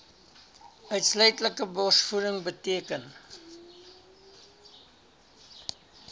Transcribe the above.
uitsluitlike borsvoeding beteken